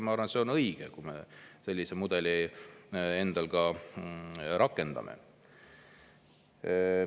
Ma arvan, et see on õige, kui me sellist mudelit endal ka rakendame.